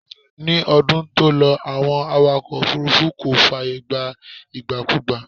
Ní ọdún tó lọ, Àwọn awakọ̀ òfúrúfú kò fààyè gba ìgbàkugbà